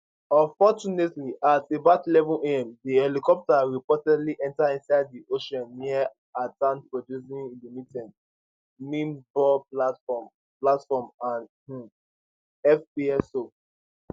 unfortunately at about eleven am di helicopter reportedly enta inside di ocean near antan producing limited mimbo platform platform and um fpso